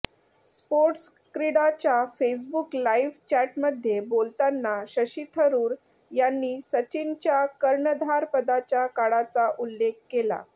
स्पोर्ट्सक्रीडाच्या Facebook live चॅटमध्ये बोलताना शशी थरूर यांनी सचिनच्या कर्णधारपदाच्या काळाचा उल्लेख केला